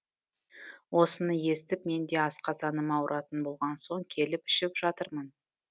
осыны естіп мен де асқазаным ауыратын болған соң келіп ішіп жатырмын